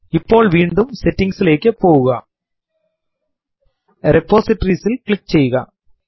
ഇപ്പോൾ വീണ്ടും സെറ്റിംഗ്സ് ലേക്ക് പോവുക റിപ്പോസിറ്ററീസ് ൽ ക്ലിക്ക് ചെയ്യുക